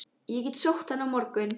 Ég get sótt hann á morgun.